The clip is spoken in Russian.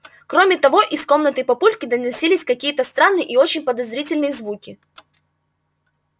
кроме того из комнаты папульки доносились какие-то странные и очень подозрительные звуки